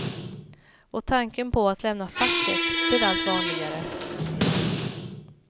Och tanken på att lämna facket blir allt vanligare.